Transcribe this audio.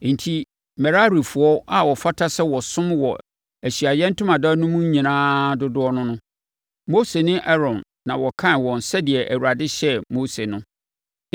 Enti Merarifoɔ a wɔfata sɛ wɔsom wɔ Ahyiaeɛ Ntomadan no mu no nyinaa dodoɔ ne no. Mose ne Aaron na wɔkan wɔn sɛdeɛ Awurade hyɛɛ Mose no.